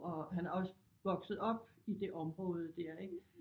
Og han er også vokset op i det område dér ik